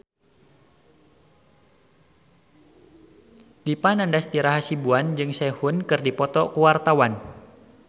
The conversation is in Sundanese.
Dipa Nandastyra Hasibuan jeung Sehun keur dipoto ku wartawan